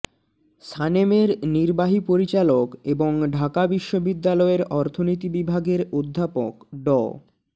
সানেমের নির্বাহী পরিচালক এবং ঢাকা বিশ্ববিদ্যালয়ের অর্থনীতি বিভাগের অধ্যাপক ড